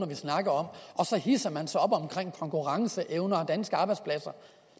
vi snakker om og så hidser man sig op over konkurrenceevne og danske arbejdspladser